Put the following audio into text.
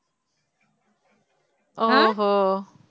ஓஹோ